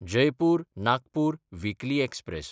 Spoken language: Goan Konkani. जयपूर–नागपूर विकली एक्सप्रॅस